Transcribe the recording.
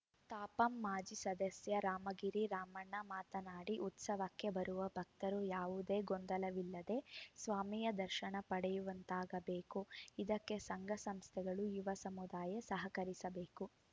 ತಾಪಂ ಮಾಜಿ ಸದಸ್ಯ ರಾಮಗಿರಿ ರಾಮಣ್ಣ ಮಾತನಾಡಿ ಉತ್ಸವಕ್ಕೆ ಬರುವ ಭಕ್ತರು ಯಾವುದೇ ಗೊಂದಲವಿಲ್ಲದೆ ಸ್ವಾಮಿಯ ದರ್ಶನ ಪಡೆಯುವಂತಾಗಬೇಕು ಇದಕ್ಕೆ ಸಂಘ ಸಂಸ್ಥೆಗಳು ಯುವ ಸಮುದಾಯ ಸಹಕರಿಸಬೇಕು